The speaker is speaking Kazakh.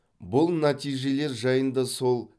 бұл нәтижелер жайында сол